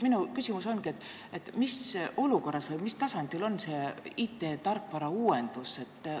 Minu küsimus ongi: mis olukorras või mis tasemel on IT-tarkvara uuendus?